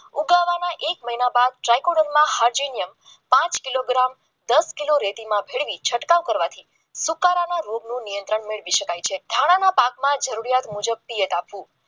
એક મહિના બાદ ટ્રાયપુલિયમ હાઈડ્રોજન પાંચ કિલો ગ્રામ દસ કિલો રેતીમાં ફેરવી છંટકાવ કરવાથી સુકારાના રોગનું નિયંત્રણ મેળવી શકાય છે દાણાના પાકમાં જરૂરિયાત મુજબ સિયત આપવો